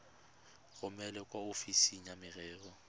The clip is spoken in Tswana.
romele kwa ofising ya merero